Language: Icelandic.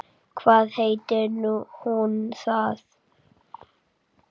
Hvað heitir hún þá?